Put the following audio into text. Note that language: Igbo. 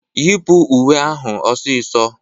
Yipụ uwe ahụ ọsịsọ!